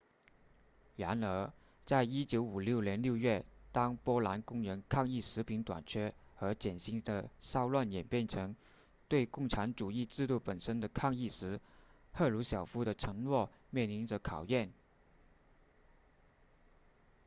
然而在1956年6月当波兰工人抗议食品短缺和减薪的骚乱演变成对共产主义制度本身的抗议时赫鲁晓夫的承诺面临着考验